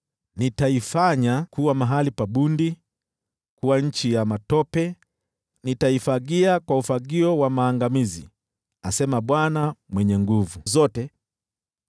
“Nitaifanya kuwa mahali pa bundi, na kuwa nchi ya matope; nitaifagia kwa ufagio wa maangamizi,” asema Bwana Mwenye Nguvu Zote.